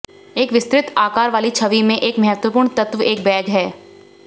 एक विस्तृत आकार वाली छवि में एक महत्वपूर्ण तत्व एक बैग है